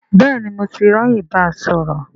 Bẹ́ẹ̀ni, mo ti ráyè báa sọ̀rọ̀